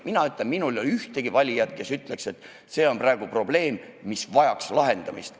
Mina ütlen, et minul ei ole ühtegi valijat, kes ütleks, et see on praegu probleem, mis vajaks lahendamist.